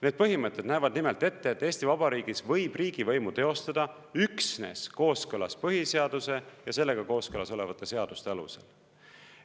Need põhimõtted näevad nimelt ette, et Eesti Vabariigis võib riigivõimu teostada üksnes kooskõlas põhiseaduse ja sellega kooskõlas olevate seaduste alusel.